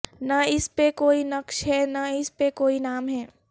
نہ اس پہ کوئی نقش ہے نہ اس پہ کوئی نام ہے